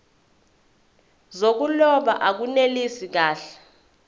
zokuloba akunelisi kahle